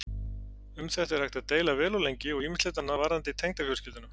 Um þetta er hægt að deila vel og lengi og ýmislegt annað varðandi tengdafjölskylduna.